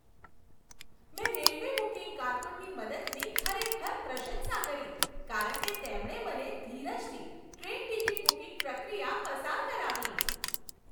મેં railway booking કારકુનની મદદની ખરેખર પ્રશંસા કરી કારણ કે તેમણે મને ધીરજથી ટ્રેન ટિકિટ બુકિંગ પ્રક્રિયા પસાર કરાવી.